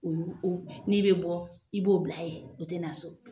Olu o n'i bɛ bɔ i b'o bila ye, o tɛ na so.